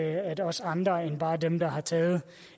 at også andre end bare dem der har taget